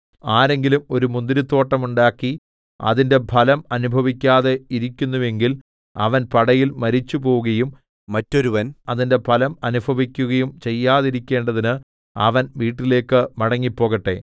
ആരെങ്കിലും ഒരു മുന്തിരിത്തോട്ടം ഉണ്ടാക്കി അതിന്റെ ഫലം അനുഭവിക്കാതെ ഇരിക്കുന്നുവെങ്കിൽ അവൻ പടയിൽ മരിച്ചുപോവുകയും മറ്റൊരുവൻ അതിന്റെ ഫലം അനുഭവിക്കയും ചെയ്യാതിരിക്കുന്നതിന് അവൻ വീട്ടിലേക്ക് മടങ്ങിപ്പോകട്ടെ